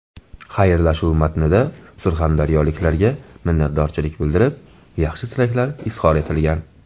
Xayrlashuv matnida surxondaryoliklarga minnatdorlik bildirib, yaxshi tilaklar izhor etilgan .